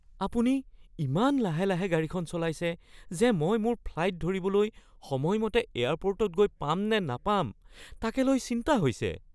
আপুনি ইমান লাহে লাহে গাড়ীখন চলাইছে যে মই মোৰ ফ্লাইট ধৰিবলৈ সময়মতে এয়াৰপোৰ্টত গৈ পাম নে নাপাম তাকে লৈ চিন্তা হৈছে।